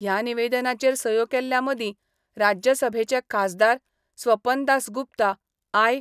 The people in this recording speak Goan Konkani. ह्या निवेदनाचेर सयो केल्ल्यामदी राज्य सभेचे खासदार स्वपन दास गुप्ता, आय.